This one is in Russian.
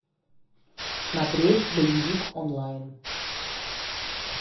смотреть боевик онлайн